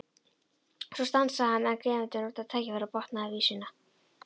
Svo stansaði hann en Gvendur notaði tækifærið og botnaði vísuna: